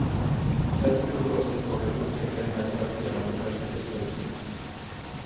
Därför tog det också ett tag att upptäcka den här frapperande kvalitetshöjningen.